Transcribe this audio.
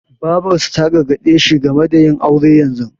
Babarsa ta gargaɗe shi game da yin aure yanzu.